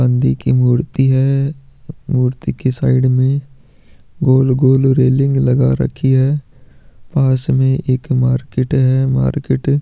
नंदी की मूर्ति है मूर्ति की साइड में गोल-गोल रेलिंग लगा रखी है पास में एक मार्किट बहुत बड़ी है मार्किट --